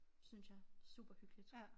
Synes jeg superhyggeligt